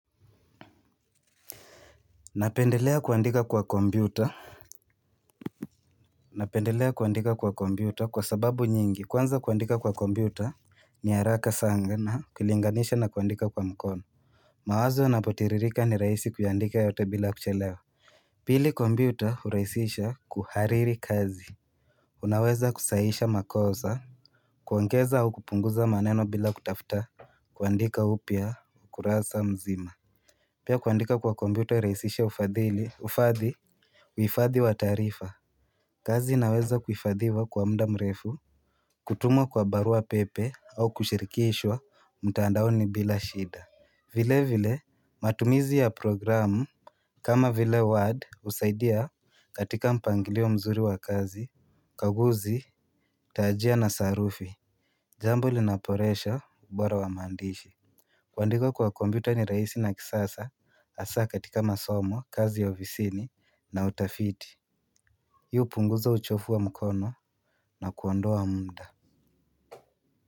Napendelea kuandika kwa kompiyuta. Napendelea kuandika kwa kompiyuta kwa sababu nyingi kwanza kuandika kwa kompiyuta niharaka sana na ukilinganisha na kuandika kwa mkono. Mawazo yanapotiririka ni rahisi kuyaandika yote bila kuchelewa. Pili kompiyuta huraihisisha kuhariri kazi. Unaweza kusahisha makosa kuongeza au kupunguza maneno bila kutafta kuandika upya ukurasa mzima. Pia kuandika kwa kompiyuta hurahisisha ufadhili, Ufadhi Uifadhi wa taarifa. Kazi inaweza kuhifadhiwa kwa muda mrefu. Kutumwa kwa barua pepe au kushirikishwa mtandaoni bila shida. Vile vile matumizi ya programu kama vile ward husaidia katika mpangilio mzuri wa kazi ukaguzi taajia na sarufi. Jambo linaboresha ubora wa maandishi. Kwandika kwa kompiyuta ni rahisi na kisasa hasa katika masomo kazi ya ofisini na utafiti. Hii punguza uchovu wa mkono na kuondoa muda.